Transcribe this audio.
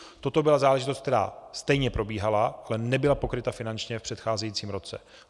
Toto byla záležitost, která stejně probíhala, ale nebyla pokryta finančně v předcházejícím roce.